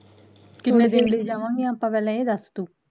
ਕਿੰਨੇ ਦਿਨ ਲਈ ਜਾਵਾਂਗੀਆ ਆਪਾਂ ਪਹਿਲਾਂ ਇਹ ਦੱਸ ਤੂੰ